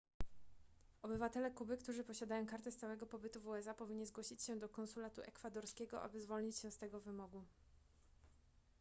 obywatele kuby którzy posiadają kartę stałego pobytu w usa powinni zgłosić się do konsulatu ekwadorskiego aby zwolnić się z tego wymogu